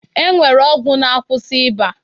E nwere ọgwụ na-akwụsị ịba